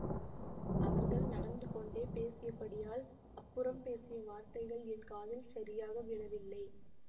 அவர்கள் நடந்து கொண்டே பேசியபடியால் அப்புறம் பேசிய வார்த்தைகள் என் காதில் சரியாக விழவில்லை